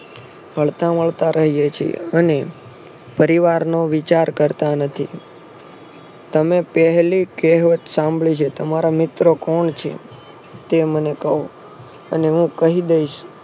હળતા મળતા રહ્યે છીએ અને પરિવારનો વિચાર કરતા નથી. તમે પેહલી કેહવત સાંભળી છે. તમારા મિત્રો કોણ છે. તે મને કહો અને હું કે દઈશ.